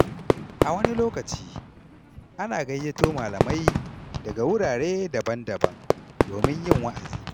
A wani lokaci, ana gayyato malamai daga wurare daban-daban domin yin wa’azi.